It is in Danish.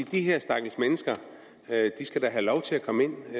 de her stakkels mennesker da skal have lov til at komme ind